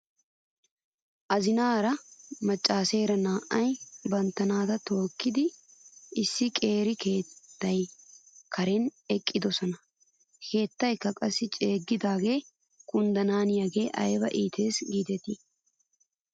Azinaara macaaseera naa'ay bantta naata tookkidi issi qeeri keettaa karen eqqidosona. He keettaykka qassi ceeggidi kunddanaaniyaagee ayba iites giidetii .